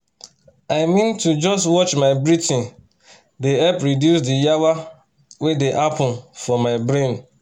i mean to just watch my breathing dey help reduce the yawa wey dey happen for my brain